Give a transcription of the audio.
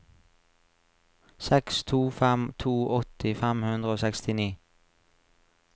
seks to fem to åtti fem hundre og sekstini